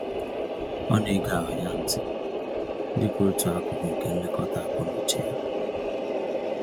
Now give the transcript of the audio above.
Ọ na-ege ahụ ya ntị dịka otu akụkụ nke nlekọta akọ-n'uche ya